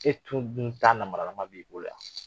E tun min ta namaralama b'i bo yan.